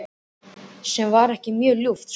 Sem var ekki mjög ljúft, sko.